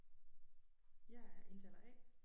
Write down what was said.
Jeg er indtaler A